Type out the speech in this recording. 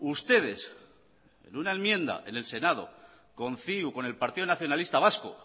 ustedes en una enmienda en el senado con ciu con el partido nacionalista vasco